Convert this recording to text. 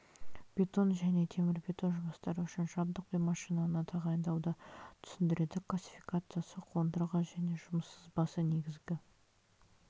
бетон және темірбетон жұмыстары үшін жабдық пен машинаны тағайындауды түсіндіреді классификациясы қондырғы және жұмыс сызбасы негізгі